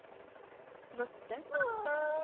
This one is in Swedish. mötte